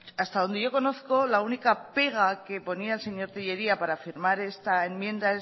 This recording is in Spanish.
hasta donde yo conozco la única pega que ponía el señor tellería para firmar esta enmienda